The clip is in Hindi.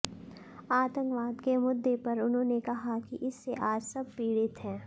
आतंकवाद के मुद्दे पर उन्होंने कहा कि इससे आज सब पीड़ित हैं